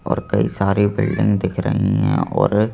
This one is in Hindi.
और कई सारी बिल्डिंग दिख रही हैं और--